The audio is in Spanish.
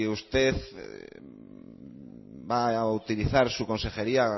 usted va a utilizar su consejería